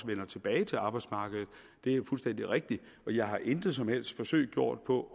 vender tilbage til arbejdsmarkedet det er fuldstændig rigtigt og jeg har intet som helst forsøg gjort på